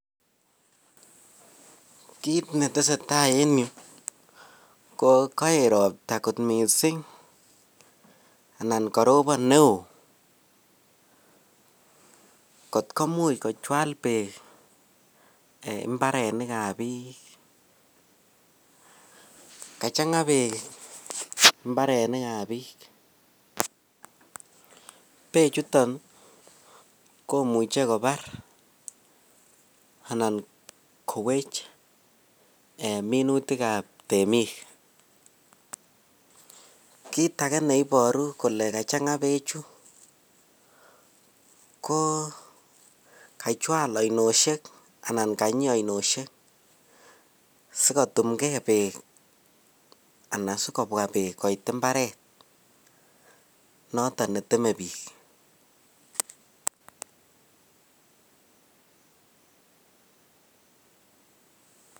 Kiit netesetai en yu ko koet ropta kot miisik anan karopan neo kotko imuch kochwal beek ibarenikab biik kajanga beek ibarenikab biik bechuton komuche kobar anan kowech ee minutikab temik kit age neiboru kole kajanga bechu koo kachwal oinoshek anan kanyii oinoshek sikotumngee beek Anan sikobwaa beek koit ibaret noton netemee biik